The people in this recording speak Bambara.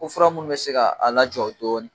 Ko fura munnu bɛ se ka a lajɔ dɔɔnin